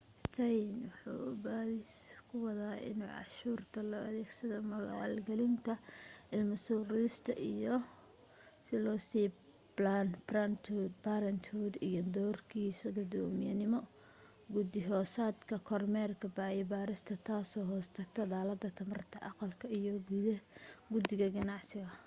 stearns waxa uu baadhis ku wadaa in cashuurta loo adeegsaday maalgelinta ilmo soo ridista iyadoo loo sii planned parenthood iyo doorkiisa guddoomiyenimo guddi hoosaadka kormeerka iyo baarista taasoo hoos tagta dallada tamarta aqalka iyo guddida ganacsiga